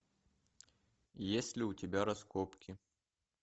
есть ли у тебя раскопки